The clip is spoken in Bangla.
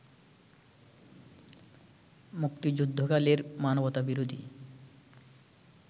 মুক্তিযুদ্ধকালের মানবতাবিরোধী